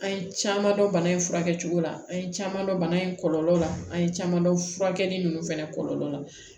An ye caman dɔn bana in furakɛ cogo la an ye caman dɔn bana in kɔlɔlɔ la an ye caman dɔn furakɛli ninnu fɛnɛ kɔlɔlɔ la